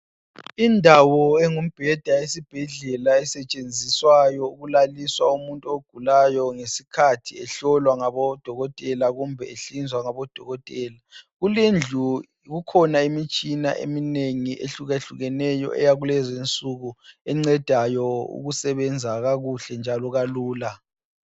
Indawo engumbeda esibhedlela esetshenziswayo ukulaliswa umuntu ogulayo ngesikhathi ehlolwa ngabo dokotela kumbe ehlinzwa ngabodokotela kulendlu kukhona imitshina eminengi ehlukehlukeneyo eyakulezinsuku encedayo ukusebenza kakuhle njalo kalula.